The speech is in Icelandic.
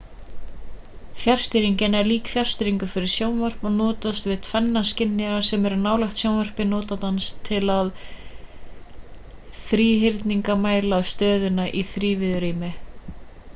fjarstýringin er lík fjarstýringu fyrir sjónvarp og notast við tvenna skynjara sem eru nálægt sjónvarpi notandans til að þríhyrningamæla stöðuna í þrívíðu rými